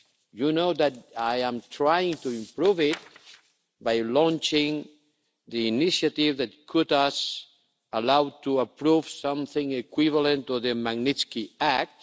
You know that I am trying to improve it by launching the initiative that could allow us to approve something equivalent to the Magnitsky Act.